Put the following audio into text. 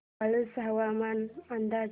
वाळूंज हवामान अंदाज